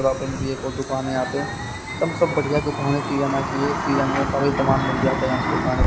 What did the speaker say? यहाँ पर भी एक और दुकान है यहाँ पे हम सब बढ़िया दुकान है किरिया ना किए किरिया में सभी सामान मिल जाता है हमको खाने--